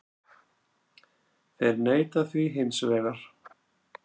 Þeir neita því hins vegar